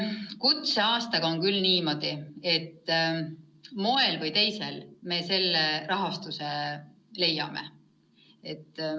Kutseaastaga on niimoodi, et ühel või teisel moel me selleks vajaliku raha leiame.